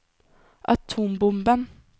atombomben